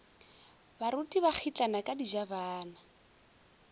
baruti ba kgitlana ka dijabana